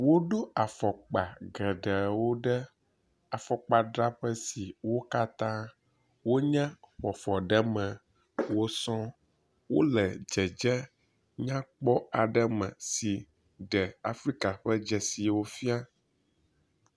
Woɖo afɔkpa geɖewo ɖe afɔkpadzraƒe si wo katã wonye ƒoafɔɖeme wo sɔ wo le dzedze nyakpɔ aɖe me si ɖe Afrika ƒe dzesiwo fia.